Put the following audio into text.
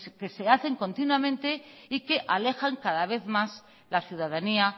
que se hacen continuamente y que alejan cada vez más la ciudadanía